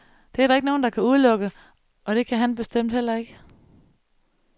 Det er der ikke nogen, der kan udelukke, og det kan han bestemt heller ikke.